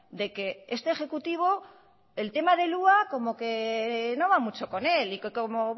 de que este ejecutivo el tema del hua como que no va mucho con él y que como